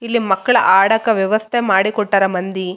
ಇಲ್ಲಿ ಮಕ್ಕಳ ಆಡಾಕ ವ್ಯವಸ್ಥೆ ಮಾಡಿ ಕೊಟ್ಟಾರ ಮಂದಿ.